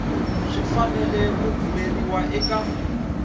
swi fanele ku rhumeriwa eka